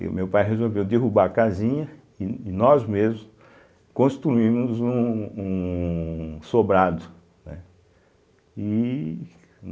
E o meu pai resolveu derrubar a casinha e e nós mesmos construímos um um sobrado, né, e